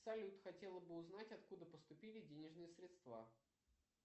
салют хотела бы узнать откуда поступили денежные средства